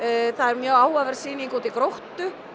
Hönnunarsafninu mjög áhugaverð sýning úti í Gróttu